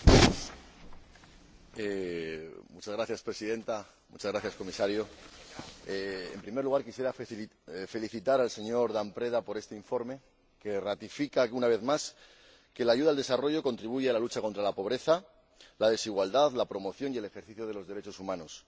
Señora Presidenta, señor Comisario, en primer lugar quisiera felicitar al señor Dan Preda por este informe, que ratifica una vez más que la ayuda al desarrollo contribuye a la lucha contra la pobreza y la desigualdad y a la promoción y el ejercicio de los derechos humanos.